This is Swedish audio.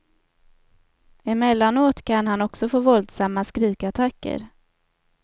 Emellanåt kan han också få våldsamma skrikattacker.